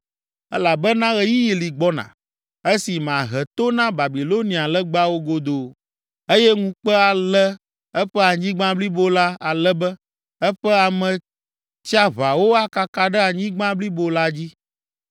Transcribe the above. Elabena ɣeyiɣi li gbɔna, esi mahe to na Babilonia legbawo godoo eye ŋukpe alé eƒe anyigba blibo la ale be eƒe Ame tsiaʋawo akaka ɖe anyigba blibo la dzi.